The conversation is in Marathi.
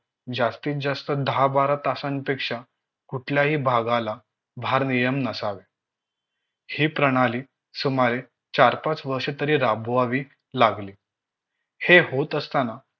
जास्तीत जास्त दहा बारा तासांपेक्षा कुठल्याही भागाला भारनियम नसावे हि प्रणाली सुमारे चार पाच वर्षे तरी राबवावी लागली हे होत असताना